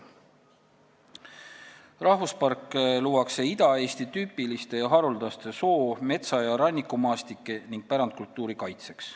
Rahvuspark luuakse Ida-Eesti tüüpiliste ja haruldaste soo-, metsa- ja rannikumaastike ning pärandkultuuri kaitseks.